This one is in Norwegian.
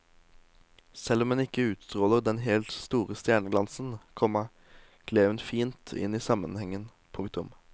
Selv om hun ikke utstråler den helt store stjerneglansen, komma gled hun fint inn i sammenhengen. punktum